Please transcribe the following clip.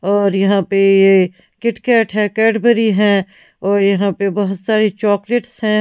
और यहां पे यह किट-कैट है कैटबरी है और यहां पे बहुत सारे चॉकलेट्स हैं।